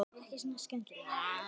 Það hafði kosti.